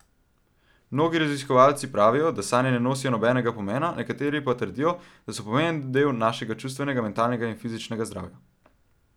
Mnogi raziskovalci pravijo, da sanje ne nosijo nobenega pomena, nekateri pa trdijo, da so pomemben del našega čustvenega, mentalnega in fizičnega zdravja.